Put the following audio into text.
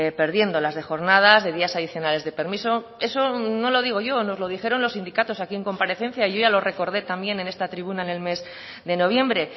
perdiendo las de jornadas de días adicionales de permiso eso no lo digo yo nos lo dijeron los sindicatos aquí en comparecencia y yo ya lo recordé también en esta tribuna en el mes de noviembre